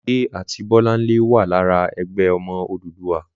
Olúmidé àti Bọ́láńlé wà lára "Ẹgbẹ́ Ọmọ Odùduwà."